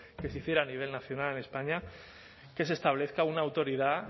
que se hiciera a nivel nacional en españa que se establezca una autoridad